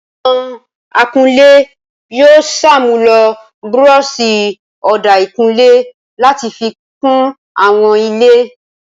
Àwọn akunlé yóò ṣàmúlò búrọ́ṣì ọ̀dà ìkunlé láti fi kun àwọn ilé.